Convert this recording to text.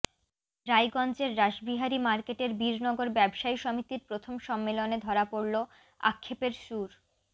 রায়গঞ্জের রাসবিহারী মার্কেটের বীরনগর ব্যবসায়ী সমিতির প্রথম সম্মেলনে ধরা পড়ল আক্ষেপের সুর